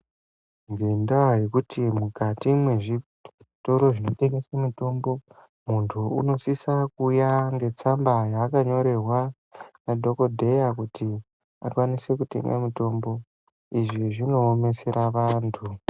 Ngendaa yekuti mukati mendau dzinotengesa mitombo, muntu anosise kuuya ngetsamba yaakanyorerwa nadhokodheya kuti akwanise kutenga mitombo. Izvi zvinoomesera antu.